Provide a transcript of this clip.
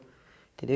Entendeu?